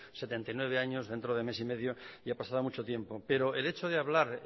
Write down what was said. setenta y nueve años dentro de mes y medio y ha pasado mucho tiempo pero el hecho de hablar